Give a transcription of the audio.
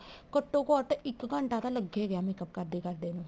ਘੱਟੋ ਘੱਟ ਇੱਕ ਘੰਟਾ ਤਾਂ ਲੱਗ ਹੀ ਗਿਆ makeup ਕਰਦੇ ਕਰਦੇ ਨੂੰ